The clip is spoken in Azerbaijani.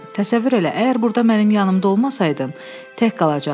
Təsəvvür elə, əgər burda mənim yanımda olmasaydın, tək qalacaqdım.